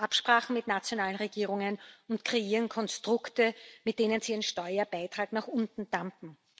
Sie machen Absprachen mit nationalen Regierungen und kreieren Konstrukte, mit denen sie ihren Steuerbeitrag nach unten drücken.